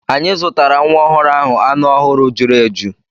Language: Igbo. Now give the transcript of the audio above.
Anyị zụtara nwa ọhụrụ ahụ anụ ọhụrụ juru eju.